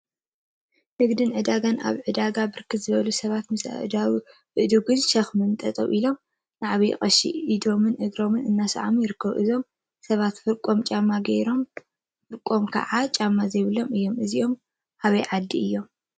ንግድን ምትዕድዳግን አብ ዕዳጋ ብርክት ዝበሉ ሰባት ምስ አእዱግን ሾክሚን ጠጠው ኢሎም ንዓብይ ቀሺ ኢዶምን እግሮምን እናተሰላሙ ይርከቡ፡፡ እዞም ሰባት ፍርቆም ጫማ ገይሮም ፍርቆም ከዓ ጫማ ዘይብሎም እዮም፡፡ እዚኦም አበይ ዓዲ እዮም?